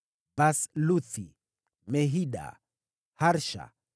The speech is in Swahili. wazao wa Basluthi, Mehida, Harsha,